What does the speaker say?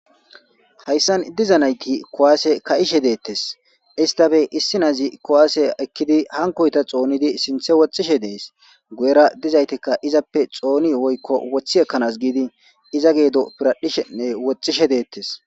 Hayssan diza naythi kuwaase kaa7ishe deeththees; isththane issi na7izi kuwaase ekkidi hankkoytha xoonidi woxxishe de7ees; guyyera dizathhthikka xooni woykko woththi ekkana giidi iza geedo piradhdhishenne woxxishe deeththes.